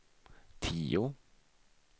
tio